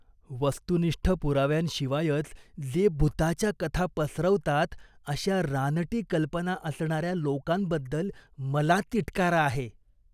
वस्तुनिष्ठ पुराव्यांशिवायच जे भुताच्या कथा पसरवतात अशा रानटी कल्पना असणाऱ्या लोकांबद्दल मला तिटकारा आहे.